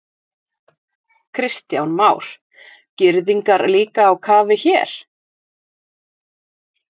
Kristján Már: Girðingar líka á kafi hér?